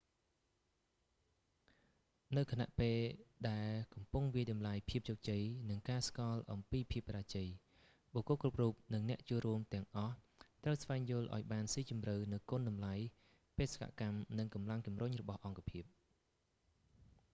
នៅខណៈពេលដែលកំពុងវាយតម្លៃភាពជោគជ័យ និងការស្គាល់អំពីភាពបរាជ័យ បុគ្គលគ្រប់រូប និងអ្នកចូលរួមទាំងអស់ត្រូវស្វែងយល់ឱ្យបានស៊ីជម្រៅនូវគុណតម្លៃ បេសកកម្ម និងកម្លាំងជំរុញរបស់អង្គការ